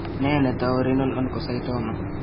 Nee netou Renal Oncocytoma?